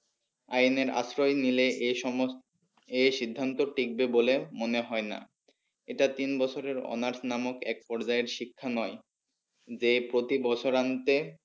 আইনের আশ্রয় নিলে এই সমস্ত এই সিন্ধান্ত ঠিকবে বলে মনে হয় না। এটা তিন বছরের honours নামক এক পর্যায়ের শিক্ষা নয় যে প্রতি বছরান্তে